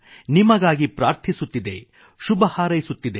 ನಿಮಗಾಗಿ ಪ್ರಾರ್ಥಿಸುತ್ತಿದೆಶುಭಹಾರೈಸುತ್ತಿದೆ